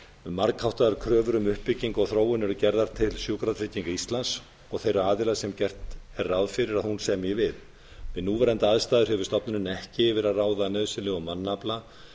margháttaðar kröfur um uppbyggingu og þróun eru gerðar til sjúkratrygginga íslands og þeirra aðila sem gert er ráð fyrir að hún semji við við núverandi aðstæður hefur stofnunin ekki yfir að ráða nauðsynlegum mannafla